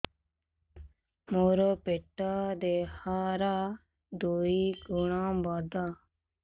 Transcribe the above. ମୋର ପେଟ ଦେହ ର ଦୁଇ ଗୁଣ ବଡ